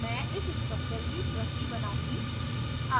मैं इस structure की प्रति बनाउंगी